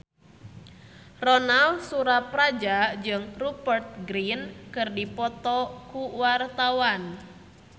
Ronal Surapradja jeung Rupert Grin keur dipoto ku wartawan